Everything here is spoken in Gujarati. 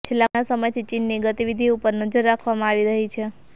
છેલ્લા ઘણા સમયથી ચીનની ગતિવિધિ ઉપર નજર રાખવામાં આવી રહી છે